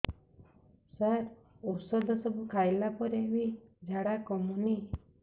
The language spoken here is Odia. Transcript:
ସାର ଔଷଧ ସବୁ ଖାଇଲା ପରେ ବି ଝାଡା କମୁନି